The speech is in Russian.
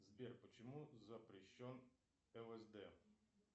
сбер почему запрещен лсд